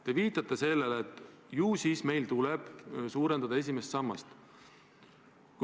Te viitate sellele, et ju siis meil tuleb suurendada esimest sammast.